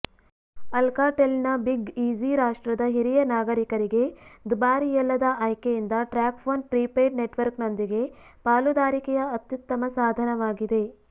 ಅಲ್ಕಾಟೆಲ್ನ big easy ರಾಷ್ಟ್ರದ ಹಿರಿಯ ನಾಗರಿಕರಿಗೆ ದುಬಾರಿಯಲ್ಲದ ಆಯ್ಕೆಯಿಂದ ಟ್ರ್ಯಾಕ್ಫೋನ್ನ ಪ್ರಿಪೇಯ್ಡ್ ನೆಟ್ವರ್ಕ್ನೊಂದಿಗೆ ಪಾಲುದಾರಿಕೆಯ ಅತ್ಯುತ್ತಮ ಸಾಧನವಾಗಿದೆ